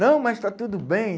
Não, mas está tudo bem.